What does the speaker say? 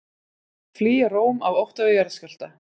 Flýja Róm af ótta við jarðskjálfta